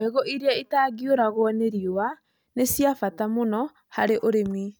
Mbegũ iria itangĩũragwo nĩ riũa nĩ cia bata mũno harĩ ũrĩmi.